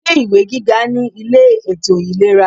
Ilé ìwé gíga ní ilé ètò ìlera.